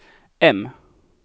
M